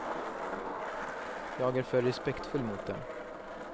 Jag är för respektfull mot dem.